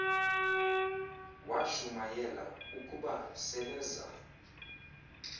washumayela ukuba seleza